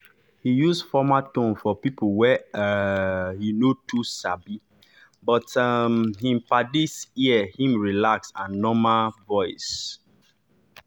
he use formal tone for people wey um he no too sabi but um him paddies ear him relaxed and normal voice.